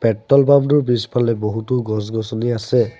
Petrol পাম্পটোৰ পিছফালে বহুতো গছ-গছনি আছে।